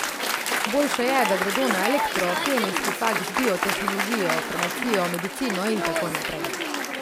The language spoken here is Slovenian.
Boljše je, da gredo na elektro, kemijski faks, biotehnologijo, farmacijo, medicino in tako naprej.